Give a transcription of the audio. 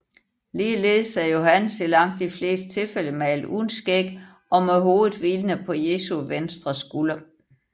Ligeledes er Johannes i langt de fleste tilfælde malet uden skæg og med hovedet hvilende på Jesu vestre skulder